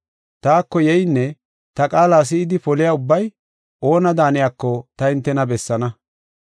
Taako yeynne ta qaala si7idi poliya ubbay oona daaniyako ta hintena bessaana.